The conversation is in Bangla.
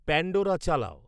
প্যান্ডোরা চালাও